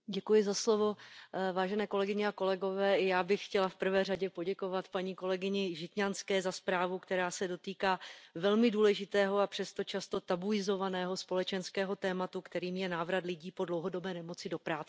Pane předsedající, vážené kolegyně a kolegové, já bych chtěla v prvé řadě poděkovat kolegyni Žitňanské za zprávu, která se dotýká velmi důležitého a přesto často tabuizovaného společenského tématu, kterým je návrat lidí po dlouhodobé nemoci do práce.